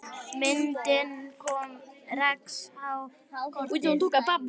Myndin kom Rex á kortið.